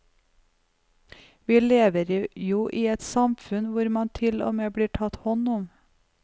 Vi lever jo i et samfunn hvor man til og med blir tatt hånd om.